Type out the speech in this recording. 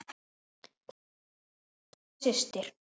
Kveðja, Agla systir.